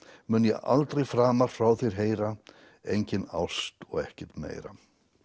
mun ég aldrei framar frá þér heyra engin ást og ekkert meira